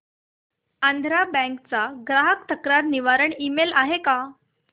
Andhra bank चा ग्राहक तक्रार निवारण ईमेल आहे का